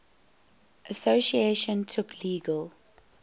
association took legal